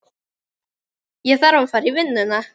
Ég þarf að fara í vinnuna.